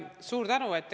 Suur tänu!